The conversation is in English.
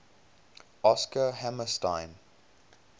oscar hammerstein